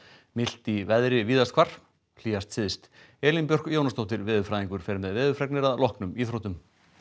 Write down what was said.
milt í veðri víðast hvar hlýjast syðst Elín Björk Jónasdóttir veðurfræðingur fer með veðurfregnir að loknum íþróttum